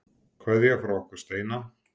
Kveðja frá okkur Steina.